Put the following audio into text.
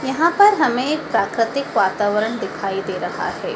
यहाँ पर हमें एक प्राकृतिक वातावरण दिखाई दे रहा है।